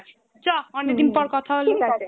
চ অনেকদিন পর কথা হলো